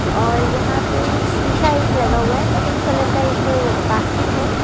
और यहां पे शिशा एक लगा हुआ है पिंक कलर का एक बास्केट है।